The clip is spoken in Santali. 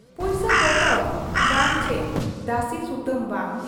ᱯᱩᱭᱥᱟᱹ ᱯᱚᱛᱚᱨ ᱵᱟᱝ ᱪᱤ ᱫᱟᱹᱥᱤ ᱥᱩᱛᱟᱹᱢ ᱵᱟᱝ ᱾